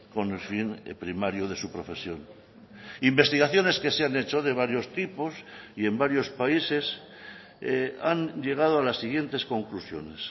con el fin primario de su profesión investigaciones que se han hecho de varios tipos y en varios países han llegado a las siguientes conclusiones